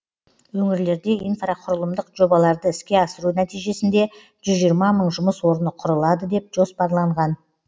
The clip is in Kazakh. өңірлерде инфрақұрылымдық жобаларды іске асыру нәтижесінде жүз жиырма мың жұмыс орны құрылады деп жоспарланған